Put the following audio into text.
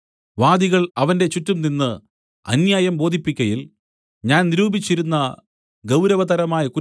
വാദികൾ അവന്റെ ചുറ്റും നിന്ന് അന്യായം ബോധിപ്പിക്കയിൽ ഞാൻ നിരൂപിച്ചിരുന്ന ഗൗരവതരമായ കുറ്റം